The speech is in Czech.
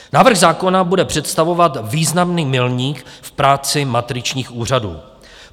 Návrh zákona bude představovat významný milník v práci matričních úřadů.